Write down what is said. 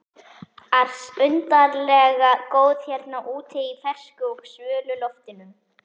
ars undarlega góð hérna úti í fersku og svölu loftinu.